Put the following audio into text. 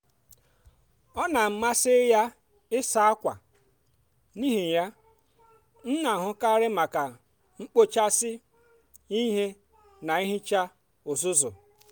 ọ n'amasị ya ịsa ákwà n'ihi ya m n'ahụkarị maka ekpochasị ihe na ihicha uzuzu.